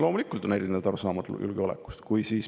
Loomulikult on meil erinevad arusaamad julgeolekust.